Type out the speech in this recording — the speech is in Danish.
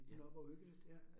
Nåh hvor hyggeligt ja